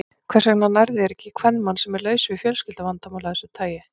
Hvers vegna nærðu þér ekki í kvenmann, sem er laus við fjölskylduvandamál af þessu tagi?